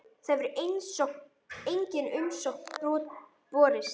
Þangað hefur engin umsókn borist.